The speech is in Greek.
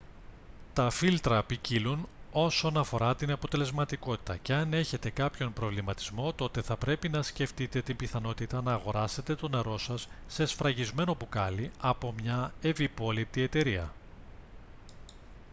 τα φίλτρα ποικίλουν όσον αφορά την αποτελεσματικότητα και αν έχετε κάποιον προβληματισμό τότε θα πρέπει να σκεφτείτε την πιθανότητα να αγοράσετε το νερό σας σε σφραγισμένο μπουκάλι από μια ευυπόληπτη εταιρεία